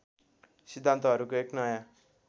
सिद्धान्तहरूको एक नयाँ